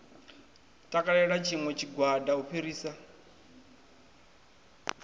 takalela tshiṋwe tshigwada u fhirisa